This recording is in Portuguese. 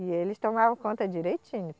E eles tomavam conta direitinho.